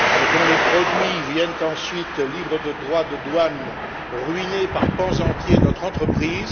dont les produits viennent ensuite, libres de droits de douane, ruiner par pans entiers notre entreprise.